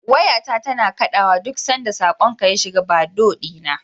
Wayata tana kaɗawa duk sanda saƙonka ya shiga Bado ɗina.